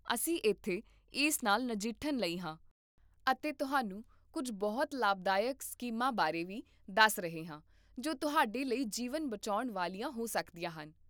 ਅਸੀਂ ਇੱਥੇ ਇਸ ਨਾਲ ਨਜਿੱਠਣ ਲਈ ਹਾਂ ਅਤੇ ਤੁਹਾਨੂੰ ਕੁੱਝ ਬਹੁਤ ਲਾਭਦਾਇਕ ਸਕੀਮਾਂ ਬਾਰੇ ਵੀ ਦੱਸ ਰਹੇ ਹਾਂ ਜੋ ਤੁਹਾਡੇ ਲਈ ਜੀਵਨ ਬਚਾਉਣ ਵਾਲੀਆਂ ਹੋ ਸਕਦੀਆਂ ਹਨ